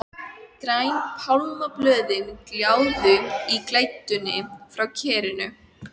Græn pálmablöðin gljáðu í glætunni frá kerinu.